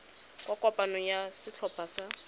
kwa kopanong ya setlhopha sa